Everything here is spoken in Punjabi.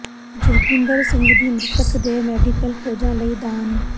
ਜੋਗਿੰਦਰ ਸਿੰਘ ਦੀ ਮ੍ਰਿਤਕ ਦੇਹ ਮੈਡੀਕਲ ਖੋਜਾਂ ਲਈ ਦਾਨ